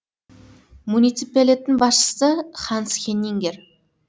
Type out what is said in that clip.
муниципалитеттің басшысы ханс хеннингер